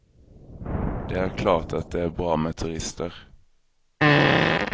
Det är klart att det är bra med turister.